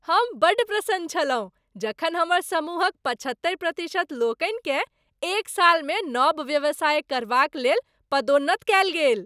हम बड्ड प्रसन्न छलहुँ जखन हमर समूहक पचहत्तरि प्रतिशत लोकनिकेँ एक सालमे नव व्यवसाय करबाक लेल पदोन्नत कयल गेल।